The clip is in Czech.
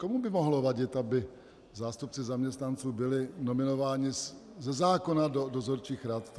Komu by mohlo vadit, aby zástupci zaměstnanců byli nominováni ze zákona do dozorčích rad?